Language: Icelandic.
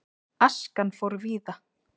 Askan fór víða.